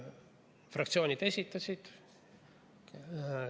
Fraktsioonid esitasid.